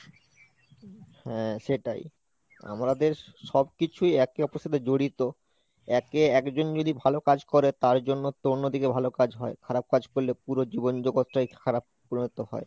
হ্যাঁ সেটাই, আমাদের সবকিছুই একে অপরের সাথে জড়িত একে একজন যদি ভালো কাজ করে তার জন্য একটু অন্যদিকে ভালো কাজ হয়, খারাপ কাজ করলে পুরো জীবন জগতটাই খারাপ পরিণীত হয়।